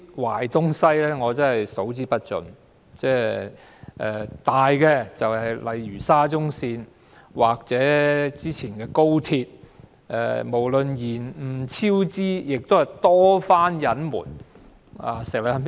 港鐵公司的問題數之不盡，嚴重事件包括沙中線醜聞和高鐵工程延誤及超支，它更曾多番隱瞞事故。